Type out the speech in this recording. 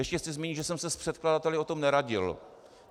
Ještě chci zmínit, že jsem se s předkladateli o tom neradil.